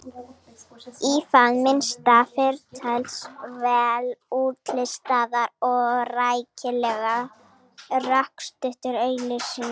Í það minnsta þyrfti til þess vel útlistaðar og rækilega rökstuddar auglýsingar.